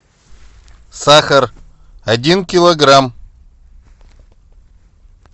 сахар один килограмм